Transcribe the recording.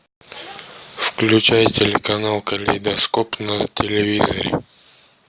включай телеканал калейдоскоп на телевизоре